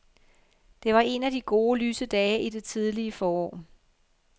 Det var en af de gode, lyse dage i det tidlige forår.